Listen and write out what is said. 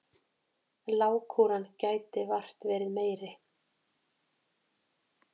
Lágkúran gæti vart verið meiri.